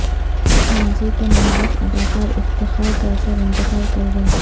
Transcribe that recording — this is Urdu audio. ماضی کے معروف اداکار افتخار قیصر انتقال کر گئے